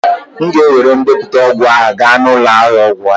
M weere ndepụta ọgwụ ahụ gaa n'ụlọ ahịa ọgwụ